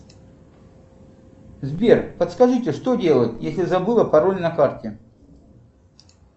сбер подскажите что делать если забыла пароль на карте